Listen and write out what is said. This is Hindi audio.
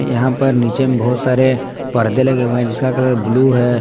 यहाँ पर नीचे में बहुत सारे परदे लगे हुए हैं जिसका कलर ब्लू है।